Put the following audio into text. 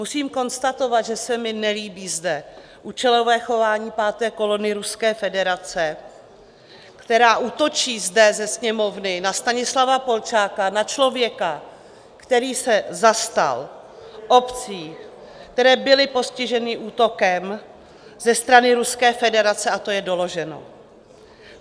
Musím konstatovat, že se mi nelíbí zde účelové chování páté kolony Ruské federace, která útočí zde ze Sněmovny na Stanislava Polčáka, na člověka, který se zastal obcí, které byly postiženy útokem ze strany Ruské federace - a to je doloženo.